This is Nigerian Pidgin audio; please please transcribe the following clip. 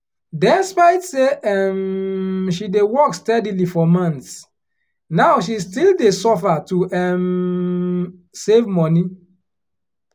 despite say um she dey work steadily for months now she still dey suffer to um save money